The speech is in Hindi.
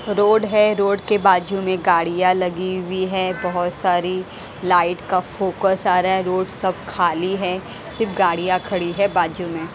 रोड है रोड के बाजू में गाड़ियाँ लगी हुई है बहुत सारी लाइट का फोकस आ रहा है रोड सब खाली है सिर्फ गाड़ियाँ खड़ी है बाजू में।